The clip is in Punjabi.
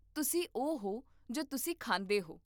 ਤੁਸੀਂ ਉਹ ਹੋ ਜੋ ਤੁਸੀਂ ਖਾਂਦੇ ਹੋ